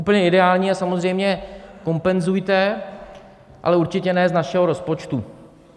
Úplně ideální je samozřejmě: kompenzujte, ale určitě ne z našeho rozpočtu.